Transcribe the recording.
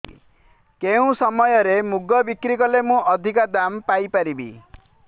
କେଉଁ ସମୟରେ ମୁଗ ବିକ୍ରି କଲେ ମୁଁ ଅଧିକ ଦାମ୍ ପାଇ ପାରିବି